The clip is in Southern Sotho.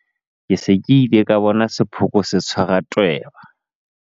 Ke se ke ile ka bona sephooko se tshwara tweba.